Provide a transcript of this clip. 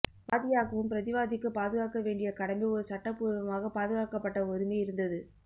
வாதியாகவும் பிரதிவாதிக்கு பாதுகாக்க வேண்டிய கடமை ஒரு சட்டபூர்வமாக பாதுகாக்கப்பட்ட உரிமை இருந்தது